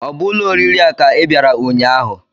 Ọ bụ ụlọ oriri a ka ị bịara ụnyaahụ?